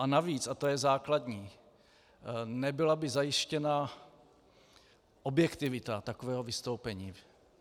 A navíc, a to je základní, nebyla by zajištěna objektivita takového vystoupení.